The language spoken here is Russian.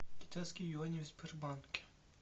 китайские юани в сбербанке